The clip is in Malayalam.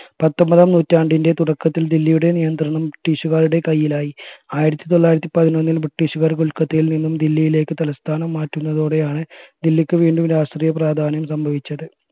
പത്തൊമ്പതാം നൂറ്റാണ്ടിന്റെ തുടക്കത്തിൽ ദില്ലിയുടെ നിയന്ത്രണം British കാരുടെ കയ്യിലായി ആയിരത്തി തൊള്ളായിരത്തി പതിനൊന്നിൽ british കാര് കൊൽക്കത്തയിൽ നിന്നും ദില്ലിയിലേക്ക് തലസ്ഥാനം മാറ്റുന്നതോടെയാണ് ദില്ലിക്ക് വീണ്ടും രാഷ്ട്രീയ പ്രാധാന്യം സംഭവിച്ചത്